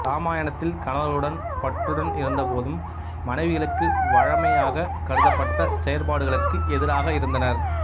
இராமாயணத்தில் கணவர்களுடன் பற்றுடன் இருந்தபோதும் மனைவிகளுக்கு வழமையாக கருதப்பட்ட செயற்பாடுகளுக்கு எதிராக இருந்தனர்